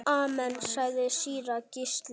Amen, sagði síra Gísli.